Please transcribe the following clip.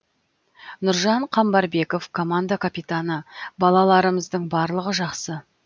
нұржан қамбарбеков команда капитаны балаларымыздың барлығы жақсы